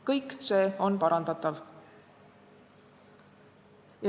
Kõik see on parandatav.